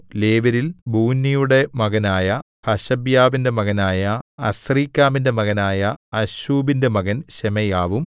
ലേവ്യരിൽ ബൂന്നിയുടെ മകനായ ഹശബ്യാവിന്റെ മകനായ അസ്രീക്കാമിന്റെ മകനായ അശ്ശൂബിന്റെ മകൻ ശെമയ്യാവും